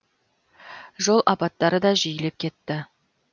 жол апаттары да жиілеп кетті